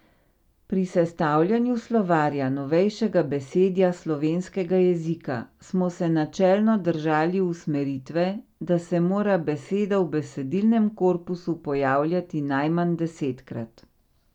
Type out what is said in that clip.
Pri sestavljanju Slovarja novejšega besedja slovenskega jezika smo se načelno držali usmeritve, da se mora beseda v besedilnem korpusu pojavljati najmanj desetkrat.